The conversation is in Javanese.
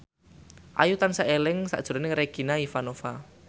Ayu tansah eling sakjroning Regina Ivanova